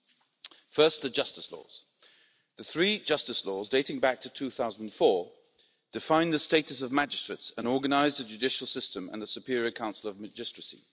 First, regarding the justice laws the three justice laws, dating back to 2004, define the status of magistrates and organise the judicial system and the Superior Council of Magistracy.